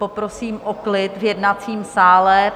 Poprosím o klid v jednacím sále.